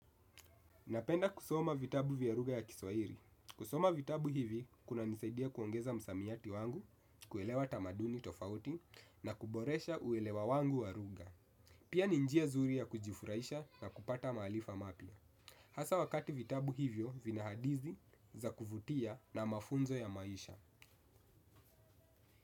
Napenda kusoma vitabu vya lugha ya kiswahili. Kusoma vitabu hivi kuna nisaidia kuongeza msamiati wangu, kuelewa tamaduni tofauti na kuboresha uelewa wangu wa lugha. Pia ni njia zuri ya kujifurahisha na kupata maarifa mapya. Hasa wakati vitabu hivyo vina hadithi za kuvutia na mafunzo ya maisha.